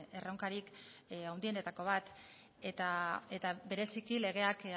erronkarik handienetako bat eta bereziki legeak